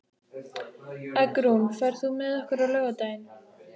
Eggrún, ferð þú með okkur á laugardaginn?